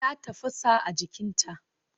Ta tafasa a jikinta.